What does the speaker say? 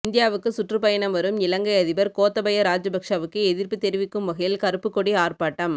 இந்தியாவுக்கு சுற்றுப்பயணம் வரும் இலங்கை அதிபா் கோத்தபய ராஜபட்சவுக்கு எதிா்ப்பு தெரிவிக்கும் வகையில் கருப்புக்கொடி ஆா்ப்பாட்டம்